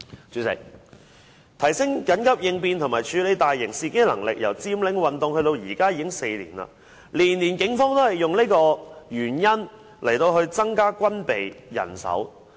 主席，提升緊急應變及處理大型事件的能力由佔領運動至今已4年，每年警方也以這個原因來增加軍備及人手。